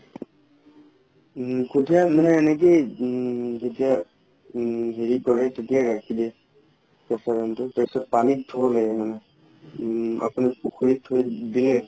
উম কঠিয়া মানে এনে কি উম এতিয়া উম হেৰি কৰে তেতিয়া ৰাখি দিয়ে তাৰ পাছত পানি ধুব লাগে মানে উম আপোনাৰ পুখুৰীত থই দিয়ে